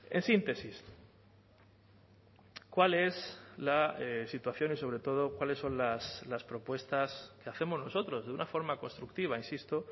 en síntesis cuál es la situación y sobre todo cuáles son las propuestas que hacemos nosotros de una forma constructiva insisto